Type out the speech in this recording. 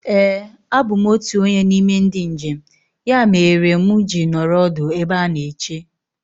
Éè a bụ m otụ onye n'ime ndị njem. Ya meere mụ ji nọrọ ọdụ ebe a na-eche